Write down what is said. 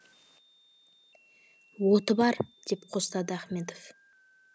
оты бар деп қостады ахметов